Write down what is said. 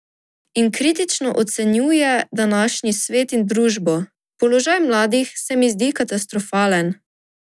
In kritično ocenjuje današnji svet in družbo: "Položaj mladih se mi zdi katastrofalen.